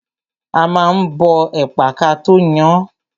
A ma ń bọ ẹ̀pà kató yan án.